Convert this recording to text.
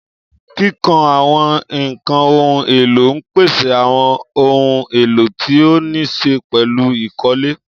Kíkọ́ àwọn ẹ̀ka ohun èlò ń pèsè àwọn ohun èlò tí ó níí ṣe pẹ̀lú ìkọ́lé.